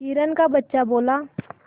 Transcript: हिरण का बच्चा बोला